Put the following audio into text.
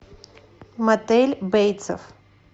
мотель бейтсов